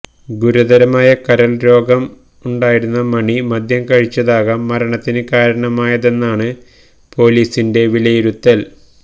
ഗുരുതരമായ കരള് രോഗം ഉണ്ടായിരുന്ന മണി മദ്യം കഴിച്ചതാകാം മരണത്തിന് കാരണമായതെന്നാണ് പൊലീസിന്റെ വിലയിരുത്തല്